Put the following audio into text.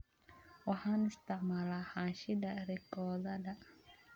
Waxaan isticmaalaa xaashida rikoodhada